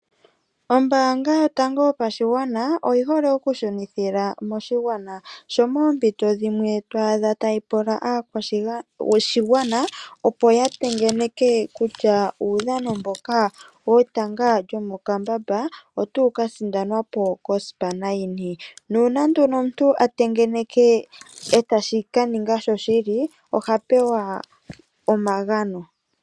Ombaanga yotango yopashigwana oyi hole oku shunithila moshigwana sho moompito dhimwe to adha tayi pula aakwshigwana, opo ya tengeneke kutya uudhano mboka wetanga lyomokambamba otawu ka sindanwa po kosipana yini, nuuna nduno omuntu a tengeneke etashi ka ninga sho shili oha pewa omagano.